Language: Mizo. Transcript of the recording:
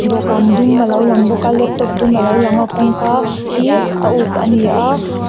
dawhkân dum alo lang bawk a laptop dum alo lang a kawngka hi a uk ani a.